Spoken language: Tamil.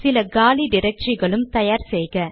சில காலி டிரக்டரிகளும் தயார் செய்க